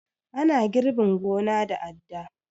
Ana girbin gona da adda